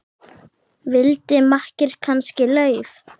Vildi makker kannski LAUF?